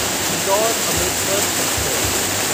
Indore Amritsar express